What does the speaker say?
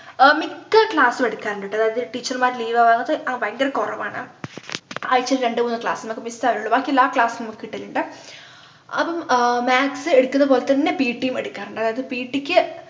ഏർ മിക്ക class ഉ എടുക്കാറുണ്ട്ട്ടോ അതായത് teacher മാറ് leave വാവുന്നത് ആഹ് അങ്ങത്തെ അഹ് ഭയങ്കര കുറവാണു ആഴിച്ചയിൽ രണ്ടു മൂന്ന് class മ്മക്ക് miss ആവുള്ളു ബാക്കിയെല്ലാ class ഉം നമ്മക്ക് കിട്ടലുണ്ട് അപ്പം ആഹ് maths എടുക്കുന്ന പോലെത്തന്നെ pt യും എടുക്കാറുണ്ട് അതായത് pt ക്ക്